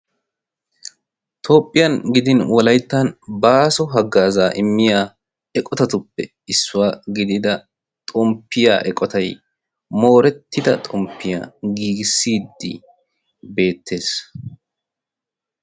toophphiyaan gidin wollayttan baaso hagazzaa immiyaa eqqotatuppe issuwaa gidida xomppiyaa eqottay moorettida xomppiyaa giigissiidi beettees.